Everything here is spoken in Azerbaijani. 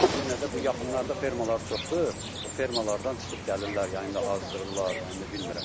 Yenə də bu yaxınlarda fermaları çoxdur, o fermalardan çıxıb gəlirlər, yayı ində azdırırlar, yəni bilmirəm də, indi heyvandır.